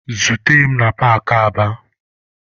Zute mụ na paakị Aba!